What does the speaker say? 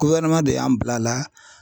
Ko ɲɛnama de y'an bila a la